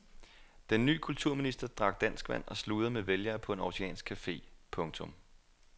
Den ny kulturminister drak danskvand og sludrede med vælgere på en århusiansk café. punktum